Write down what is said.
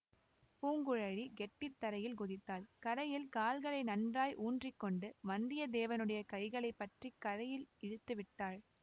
பூங்குழலி கெட்டித்தரையில் குதித்தாள் கரையில் கால்களை நன்றாய் ஊன்றி கொண்டு வந்திய தேவனுடைய கைகளை பற்றி கரையில் இழுத்து விட்டாள்